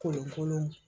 Kolonkolon